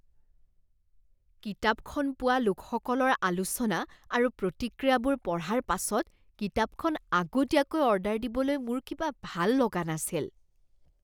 কিতাপখন পোৱা লোকসকলৰ আলোচনা আৰু প্ৰতিক্ৰিয়াবোৰ পঢ়াৰ পাছত কিতাপখন আগতীয়াকৈ অৰ্ডাৰ দিবলৈ মোৰ কিবা ভাল লগা নাছিল।